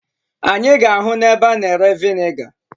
Anyị ga-ahụ ebe a na-ere veniga.